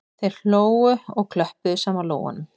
Þau hlógu og klöppuðu saman lófunum